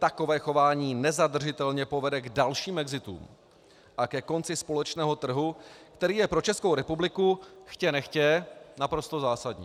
Takové chování nezadržitelně povede k dalším exitům a ke konci společného trhu, který je pro Českou republiku chtě nechtě naprosto zásadní.